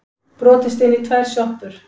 Brotist inn í tvær sjoppur